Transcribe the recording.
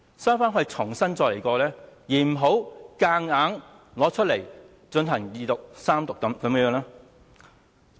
收回《條例草案》重新檢視，而不是強行推出來，進行二讀、三讀。